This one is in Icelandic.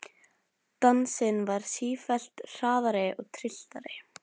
Dansinn varð sífellt hraðari og trylltari.